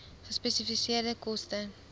gespesifiseerde koste